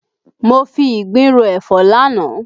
Mo fi ìgbín ro ẹ̀fọ́ lánàá